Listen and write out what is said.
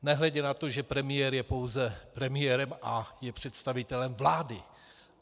Nehledě na to, že premiér je pouze premiérem a je představitelem vlády.